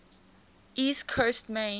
east coast maine